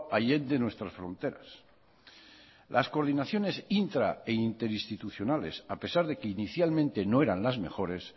allende nuestras fronteras las coordinaciones intra e interinstitucionales a pesar de que inicialmente no eran las mejores